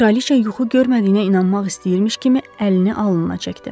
Kraliça yuxu görmədiyinə inanmaq istəyirmiş kimi əlini alnına çəkdi.